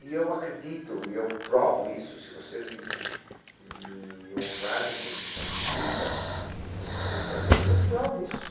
E eu acredito, e eu provo isso, se vocês m me honrarem com uma visita, eu terei prazer de... Eu provo isso.